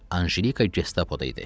Anjelika gestapoda idi.